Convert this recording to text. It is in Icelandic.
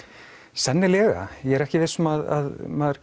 sennilega ég er ekki viss um að maður